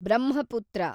Brahmaputra